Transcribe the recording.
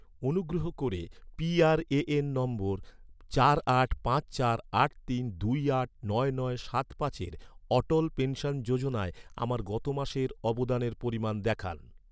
অনুগ্রহ করে P R A N number, চার আট পাঁচ চার আট তিন দুই আট নয় নয় সাত পাঁচের অটল পেনশন যোজনায়, আমার গত মাসের অবদানের পরিমাণ দেখান